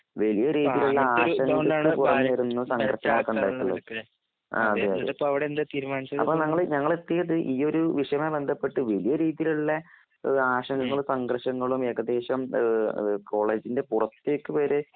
വലിയ രീതിയിൽഉള്ള സഘർശങ്ങൾ ഉണ്ടായിടുണ്ട് അതെ അതേ ഞങ്ങൾ എത്തിയത് ഈയൊരു വിഷയവുമായി ബന്ധപ്പെട്ട് വലിയ രീതിയിലുള്ള ആശങ്കകളും സംഘർഷങ്ങളും ഏകദേശം കോളേജിന്റെ പുറത്തേക്ക് വരെ